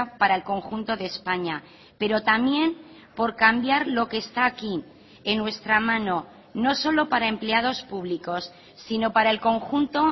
para el conjunto de españa pero también por cambiar lo que está aquí en nuestra mano no solo para empleados públicos sino para el conjunto